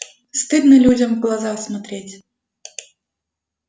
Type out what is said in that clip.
стыдно людям в глаза смотреть